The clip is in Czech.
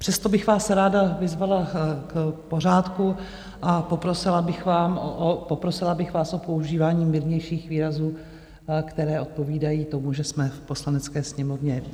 Přesto bych vás ráda vyzvala k pořádku a poprosila bych vás o používání mírnějších výrazů, které odpovídají tomu, že jsme v Poslanecké sněmovně.